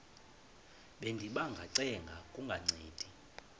bendiba ngacenga kungancedi